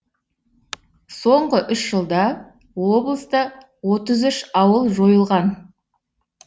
соңғы үш жылда облыста отыз үш ауыл жойылған